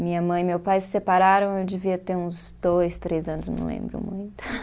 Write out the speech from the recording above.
Minha mãe e meu pai se separaram, eu devia ter uns dois, três anos, não lembro muito.